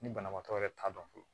Ni banabaatɔ yɛrɛ t'a dɔn fɔlɔ